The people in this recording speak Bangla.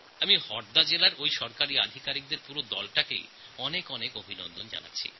আমি হরদা জেলার সরকারী আধিকারিকদের পুরো টিমকে অনেক অভিনন্দন জানাচ্ছি